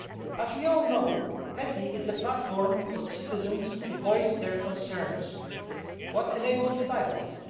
As we all know, PETI is the platform for citizens to voice their concerns, and this enables dialogue.